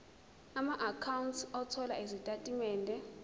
amaakhawunti othola izitatimende